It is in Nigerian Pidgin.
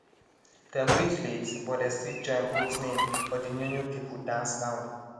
dem reach late but dey still join put name for de new new people dance round